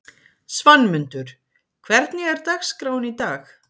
Svanmundur, hvernig er dagskráin í dag?